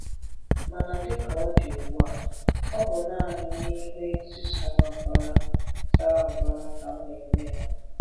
Mana dịka ọ dị ugbua, ọ bụ naanị n’ihu èzī sara mbara sara mbara ka a na-eme ya.